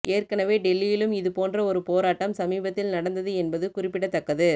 ஏற்கனவே டெல்லியிலும் இதுபோன்ற ஒரு போராட்டம் சமீபத்தில் நடந்தது என்பது குறிப்பிடத்தக்கது